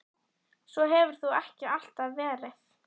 Svo hefur þó ekki alltaf verið.